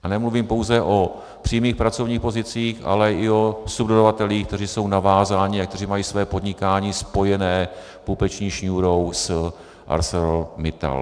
A nemluvím pouze o přímých pracovních pozicích, ale i o subdodavatelích, kteří jsou navázáni a kteří mají své podnikání spojené pupeční šňůrou s ArcelorMittal.